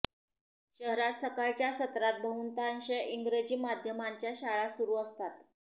शहरात सकाळच्या सत्रात बहुतांश इंग्रजी माध्यमांच्या शाळा सुरू असतात